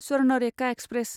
Swarnarekha express